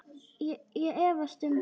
Ég efast um það.